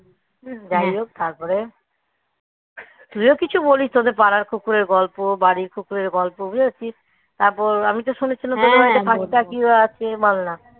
যাই হোক তারপরে তুইও কিছু বলিস তোদের পাড়ার কুকুরের গল্প, বাড়ির কুকুরের গল্প বুঝেছিস. তারপর আমি তো শুনেছিলাম কুকুরের বাচ্চা কি আছে মানলাম